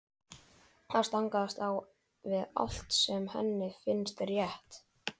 Það stangast á við allt sem henni finnst rétt.